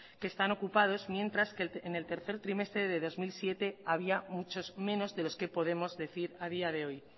que están ocupados mientras en el tercer trimestre de dos mil siete había muchos menos de los que podemos decir a día de hoy